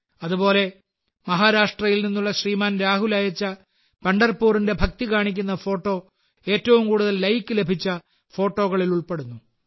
അതുപോലെ മഹാരാഷ്ട്രയിൽ നിന്നുള്ള ശ്രീമാൻ രാഹുൽ അയച്ച പണ്ഡർപൂറിന്റെ ഭക്തി കാണിക്കുന്ന ഫോട്ടോ ഏറ്റവും കൂടുതൽ ലൈക്ക് ലഭിച്ച ഫോട്ടോകളിൽ ഉൾപ്പെടുന്നു